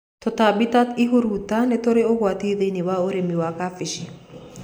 Tũtambi ta ihuruta nĩ tũrĩ ũgwati thĩiniĩ wa ũrĩmi wa kabici.